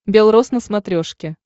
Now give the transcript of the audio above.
бел рос на смотрешке